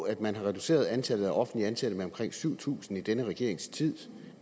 at man har reduceret antallet af offentligt ansatte med omkring syv tusind i denne regerings tid